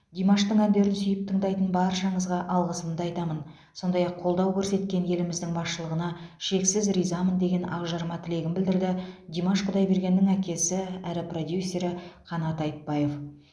димаштың әндерін сүйіп тыңдайтын баршаңызға алғысымды айтамын сондай ақ қолдау көрсеткен еліміздің басшылығына шексіз ризамын деген ақжарма тілегін білдірді димаш құдайбергеннің әкесі әрі продюсері қанат айтбаев